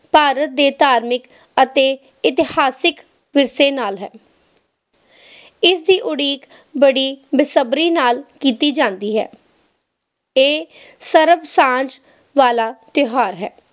ਭਾਰਤ ਦੇ ਇਤਿਹਾਸਿਕ ਅਤੇ ਧਾਰਮਿਕ ਵਿਰਸੇ ਨਾਲ ਹੈ ਇਸ ਦੀ ਉਡੀਕ ਬੜੀ ਬੇਸਬਰੀ ਨਾਲ ਕੀਤੀ ਜਾਂਦੀ ਹੈ ਇਹ ਸ਼ਰਾਬ ਸਾਂਝ ਵਾਲਾ ਤਿਓਹਾਰ ਹੈ